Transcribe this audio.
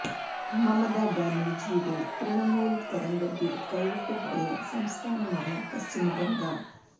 മമതാ ബാനർജിയുടെ തൃണമൂൽ തരംഗത്തിൽ കൈവിട്ടു പോയ സംസ്ഥാനമാണ് പശ്ചിമ ബംഗാൾ